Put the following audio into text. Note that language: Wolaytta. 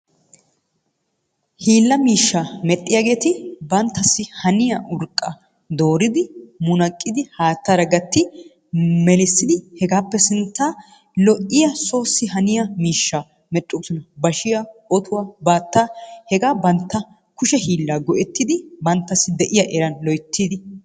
Hiila miishsha medhdhiyaageeti banttaasi haniyaa biitta dooridi munaqqidi haattara gatti melissidi hegappe sinttan lo''iya soossi haniyaa miishshaa meedhdhoosona. Bashhsiya, otuwaa, baatta hega bantta kushee hiilaa go''ettidi banttassi de'iyaa eran loyttidi ...